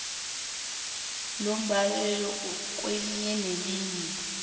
lombaleki kwelinye nelinye